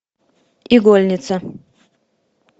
игольница